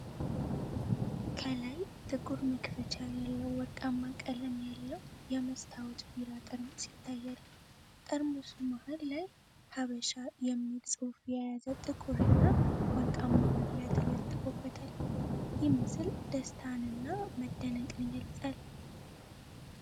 ከላይ ጥቁር መክፈቻ ያለው ወርቃማ ቀለም ያለው የመስታወት ቢራ ጠርሙስ ይታያል። ጠርሙሱ መሃል ላይ፣ "ሃበሻ" የሚል ጽሑፍ የያዘ ጥቁርና ወርቃማ መለያ ተለጥፎበታል። ይህ ምስል ደስታንና መደነቅን ይገልጻል።